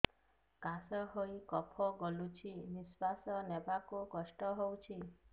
କାଶ ହେଇ କଫ ଗଳୁଛି ନିଶ୍ୱାସ ନେବାକୁ କଷ୍ଟ ହଉଛି